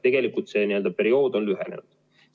Tegelikult see periood on lühenenud.